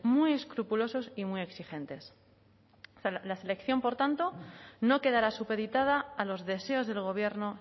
muy escrupulosos y muy exigentes la selección por tanto no quedará supeditada a los deseos del gobierno